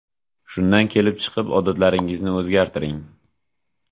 Shundan kelib chiqib odatlaringizni o‘zgartiring.